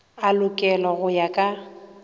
a lokelwa go ya ka